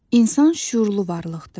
İnsan şüurlu varlıqdır.